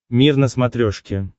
мир на смотрешке